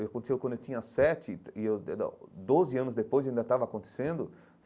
Eu aconteceu quando eu tinha sete e eu, doze anos depois, ainda estava acontecendo.